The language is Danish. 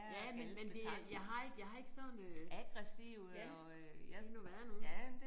Ja men men det jeg har ikke jeg har ikke sådan øh ja de nogle være nogle